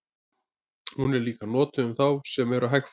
Hún er líka notuð um þá sem eru hægfara.